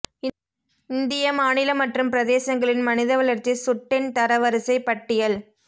இந்திய மாநில மற்றும் பிரதேசங்களின் மனித வளர்ச்சி சுட்டெண் தரவரிசைப் பட்டியல்